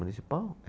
Municipal?